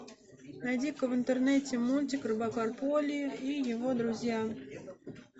найди ка в интернете мультик робокар поли и его друзья